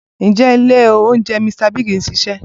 Ǹjẹ́ ilé oúnjẹ Mr Biggs ṣì ń ṣiṣẹ́?